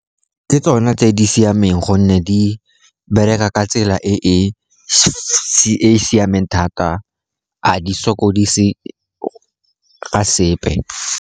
Ke tsone tse di siameng gonne di bereka ka tsela e e siameng thata, ga di sokodise ka sepe.